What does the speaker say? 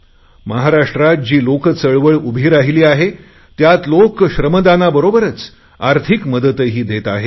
महाराष्ट्रात जी लोकचळवळ उभी राहिली आहेत त्यात लोक श्रमदानाबरोबरच आर्थिक मदतही देत आहे